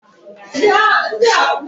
A gwara m gị ka ịnye ọkwọ ụgbọala ego!